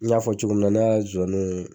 N y'a fɔ cogo min ne a zɔnun